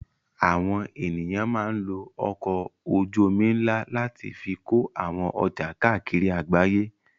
Àwọn ènìyàn máa ń lo ọkọ̀ ojú-omi ńlá láti fi kó àwọn ọjà káàkiri àgbáyé.